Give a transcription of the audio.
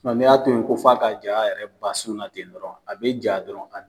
ni y'a to yen ko f'a ka ja a yɛrɛ ma a sun na ten dɔrɔn, a be ja dɔrɔn